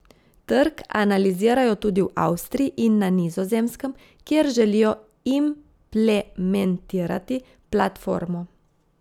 Trg analizirajo tudi v Avstriji in na Nizozemskem, kjer želijo implementirati platformo.